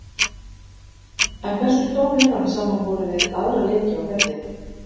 En hversu stór er hann samanborið við aðra leiki á ferlinum?